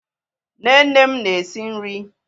Nne nne m na-esi nri.